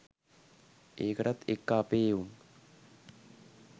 ඒකටත් එක්ක අපේ එවුන්!